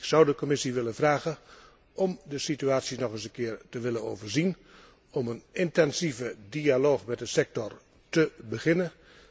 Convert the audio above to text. Ik zou de Commissie willen vragen om de situatie nog eens een keer te willen overzien, om een intensieve dialoog met de sector te beginnen.